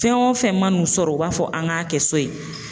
Fɛn o fɛn man n'u sɔrɔ u b'a fɔ an k'a kɛ so yen